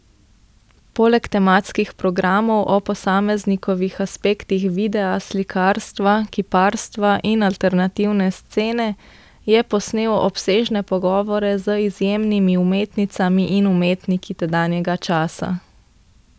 Poleg tematskih programov o posameznih aspektih videa, slikarstva, kiparstva in alternativne scene je posnel obsežne pogovore z izjemnimi umetnicami in umetniki tedanjega časa.